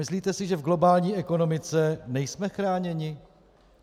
Myslíte si, že v globální ekonomice nejsme chráněni?